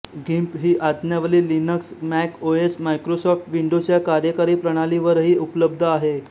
गिम्प ही आज्ञावली Linux Mac OS Microsoft Windows या कार्यकारी प्रणालीवरही उपलब्ध आहे